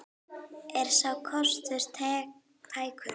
Er sá kostur tækur?